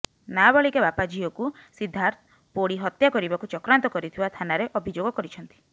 ନାବାଳିକା ବାପା ଝିଅକୁ ସିଦ୍ଧାର୍ଥ ପୋଡ଼ି ହତ୍ୟା କରିବାକୁ ଚକ୍ରାନ୍ତ କରିଥିବା ଥାନାରେ ଅଭିଯୋଗ କରିଛନ୍ତି